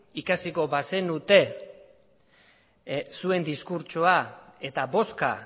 ikasiko bazenute zuen diskurtsoa eta bozka